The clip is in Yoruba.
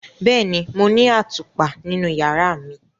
Bẹẹni, Mo ni atupa ninu yara mi.